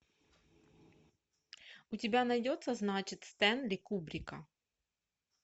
у тебя найдется значит стэнли кубрика